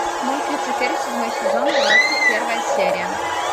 мульт люцифер седьмой сезон двадцать первая серия